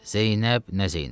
Zeynəb, nə Zeynəb!